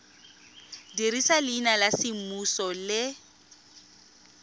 dirisa leina la semmuso le